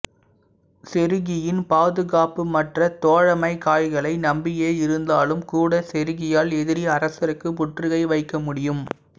செருகியின் பாதுகாப்பு மற்ற தோழமை காய்களை நம்பியே இருந்தாலும் கூட செருகியால் எதிரி அரசருக்கு முற்றுகை வைக்க முடியும்